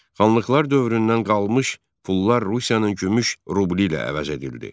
Xanlıqlar dövründən qalmış pullar Rusiyanın gümüş rubli ilə əvəz edildi.